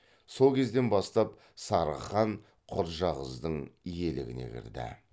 сол кезден бастап сарығ хан құрджақыздың иелігіне кірді